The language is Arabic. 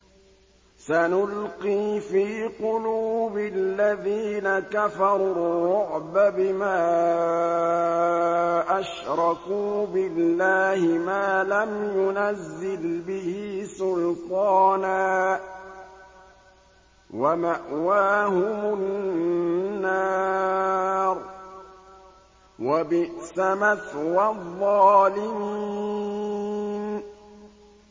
سَنُلْقِي فِي قُلُوبِ الَّذِينَ كَفَرُوا الرُّعْبَ بِمَا أَشْرَكُوا بِاللَّهِ مَا لَمْ يُنَزِّلْ بِهِ سُلْطَانًا ۖ وَمَأْوَاهُمُ النَّارُ ۚ وَبِئْسَ مَثْوَى الظَّالِمِينَ